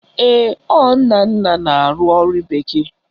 Ee, ọ Nnanna na-arụ ọrụ bekee